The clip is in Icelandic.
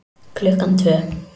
Klukkan tvö